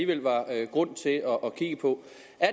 går